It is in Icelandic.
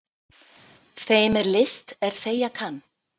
Þeim er list er þegja kann.